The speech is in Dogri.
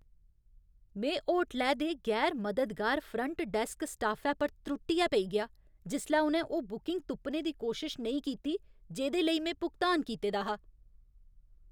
में होटलै दे गैर मददगार फ्रंट डैस्क स्टाफै पर त्रुट्टियै पेई गेआ जिसलै उ'नें ओह् बुकिंग तुप्पने दी कोई कोशश नेईं कीती जेह्‌दे लेई में भुगतान कीते दा हा।